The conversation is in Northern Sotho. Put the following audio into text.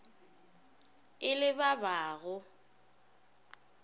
e le ba ba go